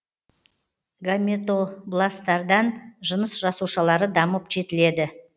гаметобласттардан жыныс жасушалары дамып жетіледі